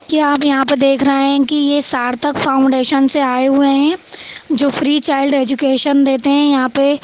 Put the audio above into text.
क्या आप यहाँ पे देख रहे हैकि यह सार्थक फाउंडेशन से आए हुए हैजो फ्री चाइल्ड एजुकेशन देते है यहाँ पे।